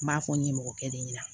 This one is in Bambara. N b'a fɔ n ɲɛmɔgɔkɛ de ɲɛna